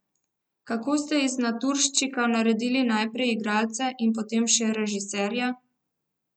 Kako ste iz naturščika naredili najprej igralca in potem še režiserja?